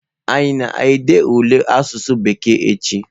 Anyi a na-ede ule asụsụ bekee echi?